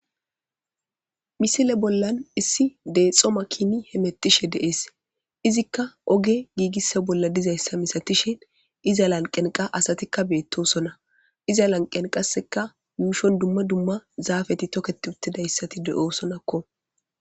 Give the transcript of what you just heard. Misile bollan issi deexxoma kini hemettishe deees izikka oge giigissa bolla dizayssa misatishin iza lanqenqa asatikka beettosona iza lanqen qasseka muushon dumma dumma zaafeti toket uttidayssati de'oosonakko.